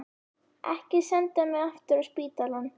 Ekki senda mig aftur á spítalann.